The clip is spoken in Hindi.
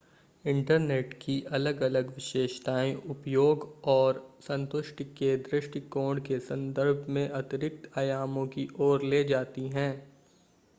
इंटरनेट की अलग-अलग विशेषताएं उपयोग और संतुष्टि के दृष्टिकोण के संदर्भ में अतिरिक्त आयामों की ओर ले जाती हैं